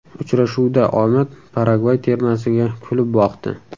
Uchrashuvda omad Paragvay termasiga kulib boqdi.